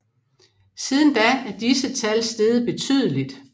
Siden da er disse tal steget betydeligt